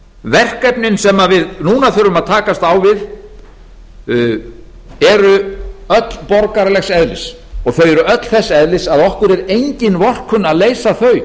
verkefnin sem við núna þurfum að takast á við eru öll borgaralegs eðlis og þau eru öll þess eðlis að okkur íslendingum er engin vorkunn að leysa þau